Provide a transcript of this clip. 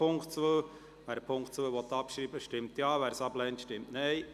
Wer die Ziffer 2 abschreiben will, stimmt Ja, wer dies ablehnt, stimmt Nein.